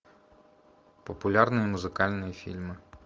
популярные музыкальные фильмы